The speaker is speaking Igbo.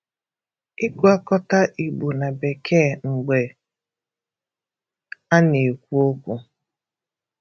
ịgwakọta Ìgbò na Bekee mgbe a na-ekwu okwu.